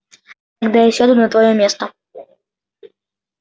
тогда я сяду на твоё место